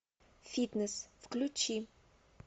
фитнес включи